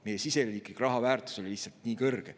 Meie siseriiklik raha väärtus oli lihtsalt nii kõrge.